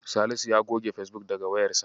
Salisu ya goge Fesbuk daga wayarsa.